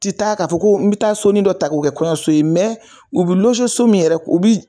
Ti taa ka fɔ ko bɛ taa soni dɔ ta ko kɛ kɔɲɔso, u bɛ so min yɛrɛ